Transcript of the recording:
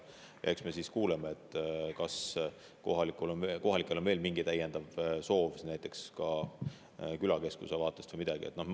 Eks me siis kuuleme, et kas kohalikel on veel mingi soov, näiteks külakeskuse vaatest või midagi sellist.